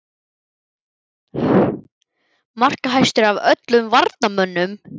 Markahæstur af öllum varnarmönnum??